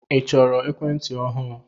I chọrọ ekwentị ọhụụ?